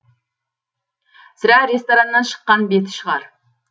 сірә рестораннан шыққан беті шығар